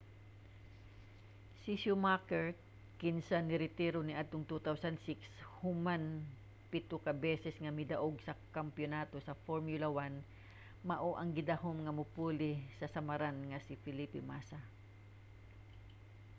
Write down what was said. si schumacher kinsa niretiro niadtong 2006 human pito ka beses nga midaog sa kampiyonato sa formula 1 mao ang gidahom nga mopuli sa samaran nga si felipe massa